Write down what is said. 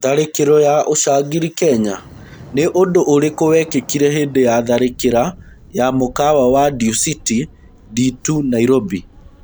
Tharĩkĩro ya ũcangiri Kenya. Nĩ ũndũũrĩkũwekĩkire hĩndĩ ya tharĩkĩra ya mũkawa wa Duciti D2 Nairobi?